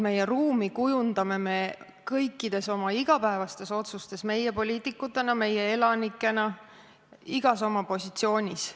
Me kujundame ruumi kõikide oma igapäevaste otsustega, meie poliitikutena, meie elanikena, igas oma positsioonis.